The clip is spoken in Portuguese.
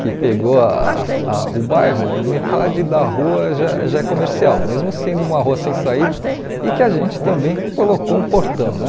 que pegou ah ah o bairro, metade da rua já já é comercial, mesmo sendo uma rua sem saída e que a gente também colocou um portão né.